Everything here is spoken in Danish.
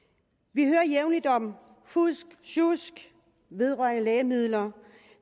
vi hører jævnligt om fusk og sjusk vedrørende lægemidler